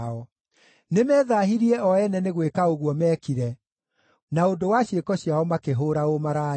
Nĩmethaahirie o ene nĩ gwĩka ũguo meekire; na ũndũ wa ciĩko ciao makĩhũũra ũmaraya.